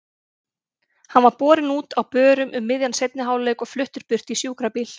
Hann var borinn út á börum um miðjan seinni hálfleik og fluttur burt í sjúkrabíl.